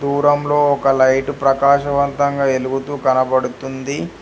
దూరం లో ఒక లైటు ప్రకాశవంతంగా ఎలుగుతూ కనబడుతుంది.